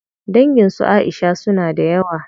Dangin su Aisha suna da yawa.